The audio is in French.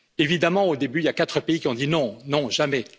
Évidemment, au début, il y a quatre pays qui ont dit non, non, jamais.